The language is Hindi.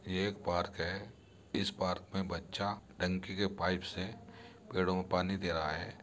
ये एक पार्क है इस पार्क में बच्चा टंकी के पाइप से पेड़ों को पानी दे रहा है।